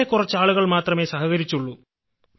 വളരെ കുറച്ചു ആളുകൾ മാത്രമേ സഹകരിച്ചുള്ളൂ